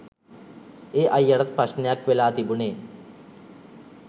ඒ අයියටත් ප්‍රශ්නයක් වෙලා තිබුණේ